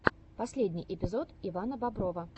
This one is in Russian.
последний эпизод ивана боброва